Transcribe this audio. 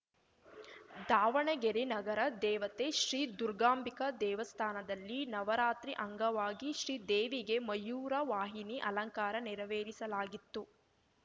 ದಾವಣಗೆರೆ ನಗರ ದೇವತೆ ಶ್ರೀ ದುರ್ಗಾಂಬಿಕಾ ದೇವಸ್ಥಾನದಲ್ಲಿ ನವರಾತ್ರಿ ಅಂಗವಾಗಿ ಶ್ರೀ ದೇವಿಗೆ ಮಯೂರವಾಹಿನಿ ಅಲಂಕಾರ ನೆರವೇರಿಸಲಾಗಿತ್ತು